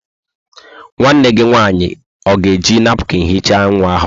Nwanne gi nwanyi o ga-eji napụkịn hichaa nwa ahu?